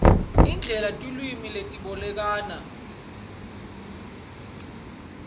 indlela tilwimi letibolekana